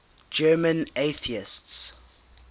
german atheists